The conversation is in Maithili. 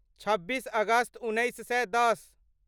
छब्बीस अगस्त उन्नैस सए दश